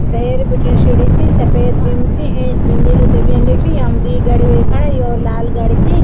भैर बटै शीढी च सपेद बिंब च ऐंच बि नीलू ते बि यन लिख्यू याम द्वि गाड़ी हुया खड़ा यों लाल गाडी ची।